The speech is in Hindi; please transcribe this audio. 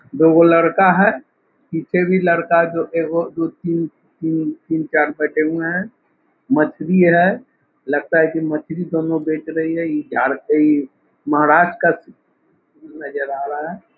दोगो लड़का है पीछे भी लड़का जो एगो दो तीन तीन तीन चार बैठे हुए हैं। मछली है लगता है कि मछली दोनों देख रही है। ई झार ई महाराष्ट्र का नजर आ रहा है।